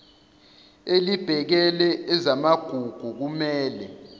elibhekele ezamagugu kumele